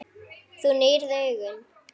Þú nýrð augun.